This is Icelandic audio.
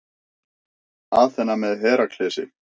Aþena með Heraklesi.